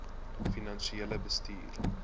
finansiële bestuur